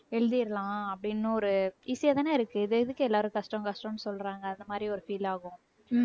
எழுதிரலாம் அப்படின்னு ஒரு easy யாதானே இருக்கு இது எதுக்கு எல்லாரும் கஷ்டம் கஷ்டம்னு சொல்றாங்க அந்த மாதிரி ஒரு feel ஆகும் உம்